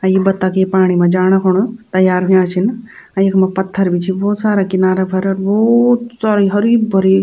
अ ये बत्तख ये पाणी मा जाणा खुण तैयार हुया छिन अ यखमा पत्थर भी छी भौत सारा किनारा पर अर भौत सारी हरी भरी --